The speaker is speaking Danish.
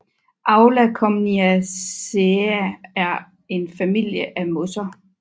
Aulacomniaceae er en familie af mosser